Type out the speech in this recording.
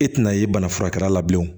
E tɛna ye bana furakɛla la bilen o